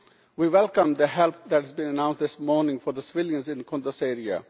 We welcome the help that has been announced this morning for the civilians in the Kunduz area.